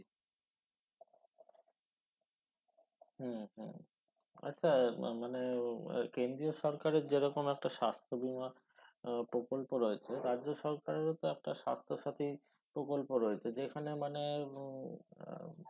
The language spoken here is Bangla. হুম হুম আচ্ছা ম~মানে কেন্দ্রীয় সরকারের যে রকম একটা স্বাস্থ্য বীমা প্রকল্প রয়েছে রাজ্য সরকারেরও তো একটা স্বাস্থ্য সথিী প্রকল্প রয়েছে যেখানে মানে উম আহ